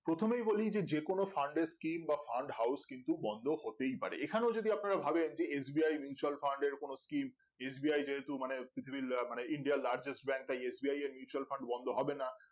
প্রথমেই বলি যে যেকোনো fund এর team বা fund house কিন্তু হতেই পারে এখানেও যদি আপনারা ভাবেন যে S B I Mutual Fund এর কোনো skim S B I যেহুতু মানে মানে india র largest bank তা S B I এর Mutual Fund বন্ধ হবে না